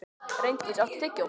Reyndís, áttu tyggjó?